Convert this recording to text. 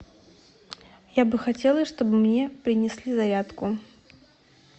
я бы хотела чтобы мне принесли зарядку